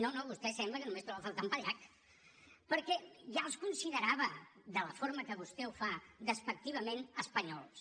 no no vostè sembla que només troba a faltar en pallach perquè ja els considerava de la forma que vostè ho fa despectivament espanyols